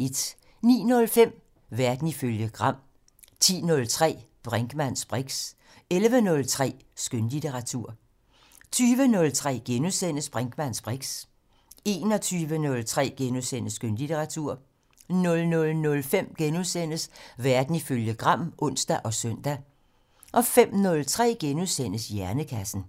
09:05: Verden ifølge Gram 10:03: Brinkmanns briks 11:03: Skønlitteratur 20:03: Brinkmanns briks * 21:03: Skønlitteratur * 00:05: Verden ifølge Gram *(ons og søn) 05:03: Hjernekassen *